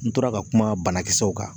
N tora ka kuma banakisɛw kan